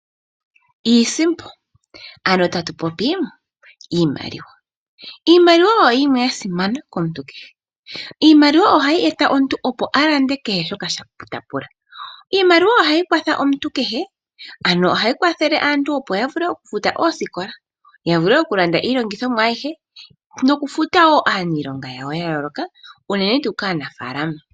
Iisimpo ano tatu popi iimaliwa. Iimaliwa oyo yimwe ya simana komuntu kehe. Iimaliwa ohayi eta omuntu opo alande kehe shoka ta pula. Iimaliwa ohayi kwatha omuntu kehe, ano ohayi kwathele aantu opo ya vule okufuta oosikola , ya vule okulanda iilongithomwa ayihe nokufuta wo aaniilonga yawo ya yooloka unene tuu kaanafaalama.